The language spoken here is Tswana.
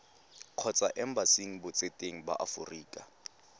kgotsa embasing botseteng ba aforika